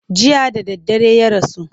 Jiya da daddare ya rasu.